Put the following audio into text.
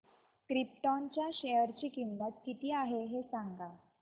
krypton च्या share ची किंमत किती आहे हे सांगा